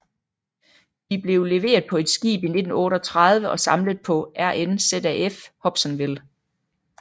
De blev leveret på et skib i 1938 og samlet på RNZAF Hobsonville